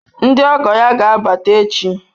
Ndị ọgọ ya ga-abata echi.